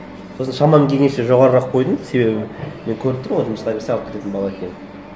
сосын шамам келгенше жоғарырақ қойдым себебі мен көріп тұрмын ғой жұмыста несі алып кететін бала екенін